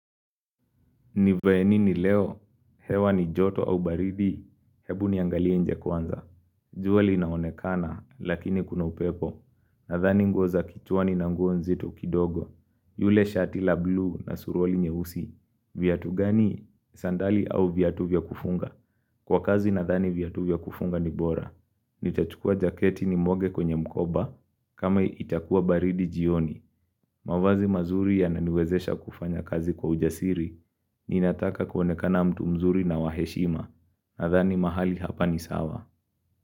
Nivae nini leo, hewa ni joto au baridi, hebu niangalie nje kwanza. Jua linaonekana, lakini kuna upepo. Nadhani nguo kichwani na nguo nzito kidogo. Yule shati la bluu na suruali nyeusi. Viatu gani sandali au viatu vya kufunga. Kwa kazi nadhani viatu vya kufunga ni bora. Nitachukua jaketi nimwage kwenye mkoba, kama itakuwa baridi jioni. Mavazi mazuri ya naniwezesha kufanya kazi kwa ujasiri. Ninataka kuonekana mtu mzuri na wa heshima Nadhani mahali hapa ni sawa.